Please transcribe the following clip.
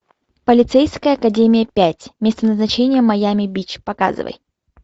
полицейская академия пять место назначения майами бич показывай